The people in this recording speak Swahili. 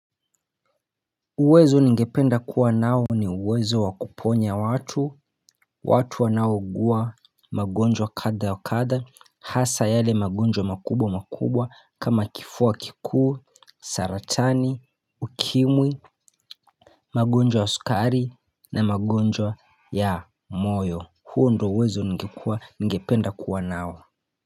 Uwezo ningependa kuwa nao ni uwezo wa kuponya watu, watu wanaougua magonjwa katha wa katha, hasa yale magonjwa makubwa makubwa kama kifua kikuu, saratani, ukimwi, magonjwa ya sukari na magonjwa ya moyo huo ndo uwezo ningependa kuwa nao.